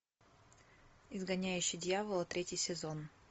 изгоняющий дьявола третий сезон